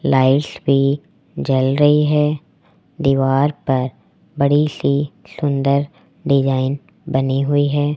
Light भी जल रही है दीवार पर बड़ी सी सुंदर डिजाइन बनी हुई है।